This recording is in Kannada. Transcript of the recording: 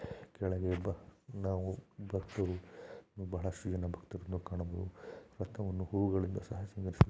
ಕೆಳಗೆ ಒಬ್ಬ ನಾವು ಭಕ್ತರು ಬಹಳಷ್ಟು ಜನ ಭಕ್ತರನ್ನು ಕಾಣಬಹುದು. ರಥವನ್ನು ಹೂವುಗಳಿಂದ ಸಹ ಸಿಂಗಾರಿಸಲಾಗಿದೆ.